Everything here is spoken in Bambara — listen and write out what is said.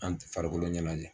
An tɛ farikolo ɲanajɛ